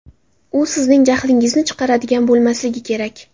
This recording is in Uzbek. U sizning jahlingizni chiqaradigan bo‘lmasligi kerak.